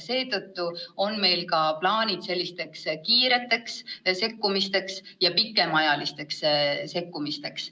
Seetõttu on meil ka plaanid kiireteks sekkumisteks ja pikemaajalisteks sekkumisteks.